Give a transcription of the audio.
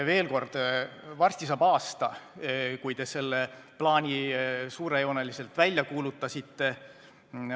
Veel kord: varsti saab aasta, kui te selle plaani suurejooneliselt välja kuulutasite.